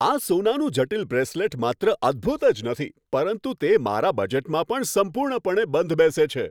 આ સોનાનું જટિલ બ્રેસલેટ માત્ર અદ્ભૂત જ નથી, પરંતુ તે મારા બજેટમાં પણ સંપૂર્ણપણે બંધ બેસે છે.